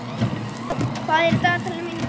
Monika, hvað er á dagatalinu mínu í dag?